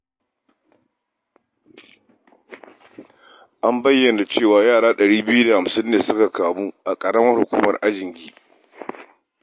An bayyana cewa yara ɗari biyu da hamsin ne suka kamu a Ƙararmar Hukumar Ajingi.